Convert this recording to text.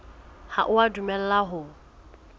ha o a dumellwa ho